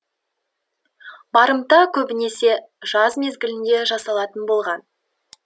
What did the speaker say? барымта көбінесе жаз мезгілінде жасалатын болған